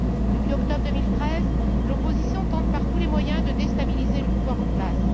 Depuis octobre 2013, l'opposition tente par tous les moyens de déstabiliser le pouvoir en place.